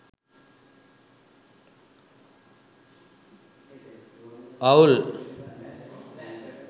uol